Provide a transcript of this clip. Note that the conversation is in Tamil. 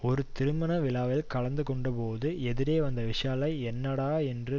ஒரு திருமண விழாவில் கலந்துகொண்டபோது எதிரே வந்த விஷாலை என்னடா என்று